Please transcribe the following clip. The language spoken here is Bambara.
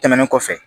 Tɛmɛnen kɔfɛ